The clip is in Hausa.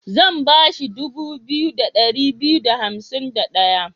Zan ba shi dubu biyu da ɗari biyu da hansim da ɗaya.